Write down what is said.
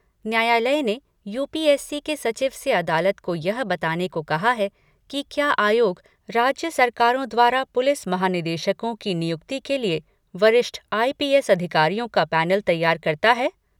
न्यायालय ने यूपीएससी के सचिव से अदालत को यह बताने को कहा है कि क्या आयोग राज्य सरकारों द्वारा पुलिस महानिदेशकों की नियुक्ति के लिए वरिष्ठ आईपीएस अधिकारियों का पैनल तैयार करता है ?